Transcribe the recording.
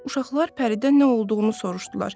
Uşaqlar Pəridən nə olduğunu soruşdular.